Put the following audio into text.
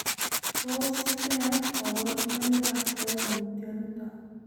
Tos koborunoikab koimutioniton?